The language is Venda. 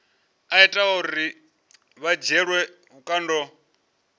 ita uri vha dzhielwe vhukando